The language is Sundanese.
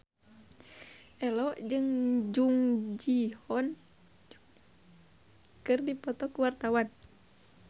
Ello jeung Jung Ji Hoon keur dipoto ku wartawan